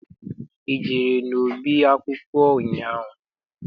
I jere n'ọba akwụkwọ ụnyaahụ?